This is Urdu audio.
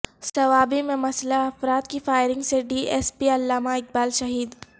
صوابی میں مسلح افراد کی فائرنگ سے D S P Allama Iqbal شہید